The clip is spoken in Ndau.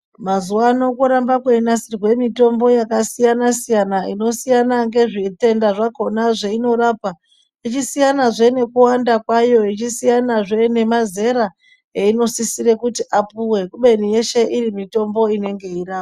Mazuva ano koramba kweinasirwe mitombo yakasiyana-siyana inosiyana ngezvitenda zvakona zveinorapa. Ichisiyanazve nekuwanda kwayo ichisiyanazve nemazera einosisire kuti apuve, kubeni yeshe iri mitombo inenge yeirapa.